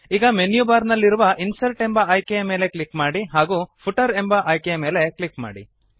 ಈಗ menu bar ನಲ್ಲಿರುವ insert ಎಂಬ ಆಯ್ಕೆಯ ಮೇಲೆ ಕ್ಲಿಕ್ ಮಾಡಿ ಹಾಗೂ ಫೂಟರ್ ಎಂಬ ಆಯ್ಕೆಯ ಮೇಲೆ ಕ್ಲಿಕ್ ಮಾಡಿ